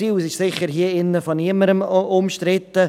Dieses Ziel ist sicher hier drin von niemandem umstritten.